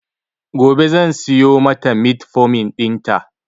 Gobe zan siyo mata metformin ɗin ta